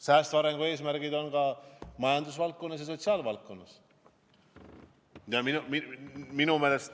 Säästva arengu eesmärgid on ka majanduse valdkonnas ja sotsiaalvaldkonnas.